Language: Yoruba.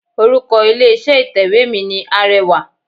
Orúkọ ilé iṣẹ́ ìtẹ̀wé mi ni Arẹwà.